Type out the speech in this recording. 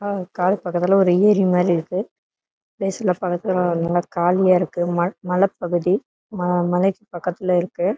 காடு பக்கதுல ஒரு யூரி மாரி இருக்கு பிளேஸ் லாம் பாத்தீங்கனா நல்லா காலியா இருக்கு மல மலப்பகுதி மலைக்கு பக்கதுல இருக்கு.